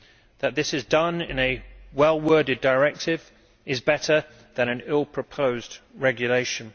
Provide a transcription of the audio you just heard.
That this is done in a well worded directive is better than in an ill proposed regulation.